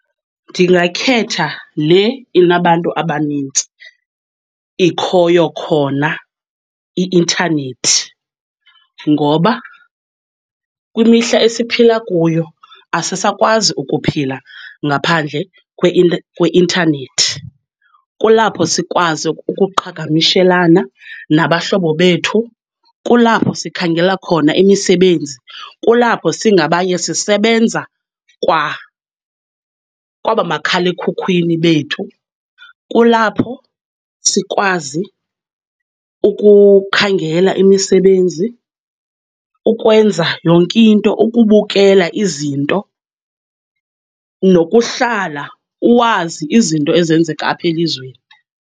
Ndingakhetha le inabantu abanintsi ikhoyo khona i-intanethi ngoba kwimihla esiphila kuyo, asisakwazi ukuphila ngaphandle kweintanethi. Kulapho sikwazi ukuqhagamshelana nabahlobo bethu, kulapho sikhangela khona imisebenzi, kulapho singabanye sisebenza kwa kwaba makhala ekhukhwini bethu, kulapho sikwazi ukukhangela imisebenzi, ukwenza yonke into, ukubukela izinto nokuhlala uwazi izinto ezenzeka apha elizweni.